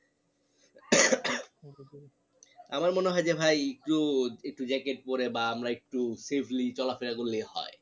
আমার মনে হয় যে ভাই একটু একটু jacket পরে বা আমরা একটু safely চলা ফেরা করলেই হয়